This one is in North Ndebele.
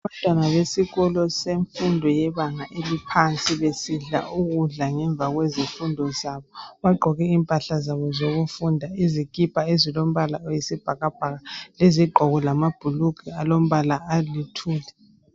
Abantwana besikolo semfundo yebanga eliphansi besidla ukudla ngemva kwezifundo zabo. Bagqoke impahla zabo zokufunda izikipa ezilombala oyisibhakabhaka lezigqoko lamabhlugwe alombala alithuli.